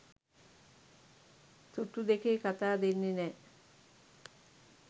තුට්ටු දෙකේ කතා දෙන්නෙ නෑ.